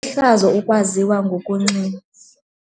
Lihlazo ukwaziwa ngokunxila.